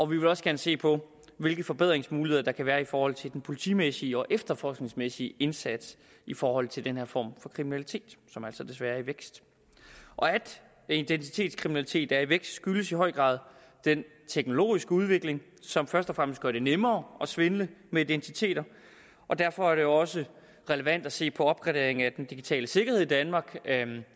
vil også gerne se på hvilke forbedringsmuligheder der kan være i forhold til den politimæssige og efterforskningsmæssige indsats i forhold til den her form for kriminalitet som desværre i vækst at identitetskriminalitet er i vækst skyldes i høj grad den teknologiske udvikling som først og fremmest gør det nemmere at svindle med identiteter og derfor er det også relevant at se på opgraderingen af den digitale sikkerhed i danmark